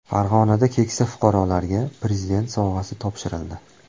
Farg‘onada keksa fuqarolarga prezident sovg‘asi topshirildi .